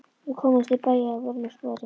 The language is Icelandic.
Við komumst til bæja að vörmu spori.